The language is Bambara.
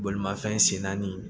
Bolimafɛn sen naani